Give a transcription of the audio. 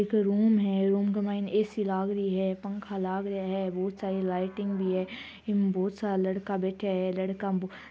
एक रूम है रूम का माईन ऐ.सी. लाग रही है पंखा लाग रिया है बहुत सारी लाइटिंग भी है ईमे बहुत सारा लड़का बैठ्या है लड़का--